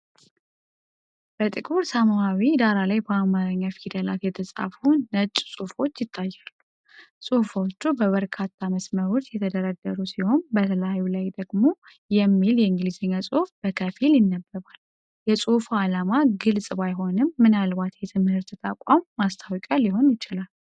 በጥቁር ሰማያዊ ዳራ ላይ በአማርኛ ፊደላት የተጻፉ ነጭ ጽሑፎች ይታያሉ። ጽሑፎቹ በበርካታ መስመሮች የተደረደሩ ሲሆን፣ በላዩ ላይ ደግሞ "versity Economics" የሚል የእንግሊዝኛ ጽሑፍ በከፊል ይነበባል። የፅሁፉ ዓላማ ግልጽ ባይሆንም፣ ምናልባት የትምህርት ተቋም ማስታወቂያ ሊሆን ይችላል።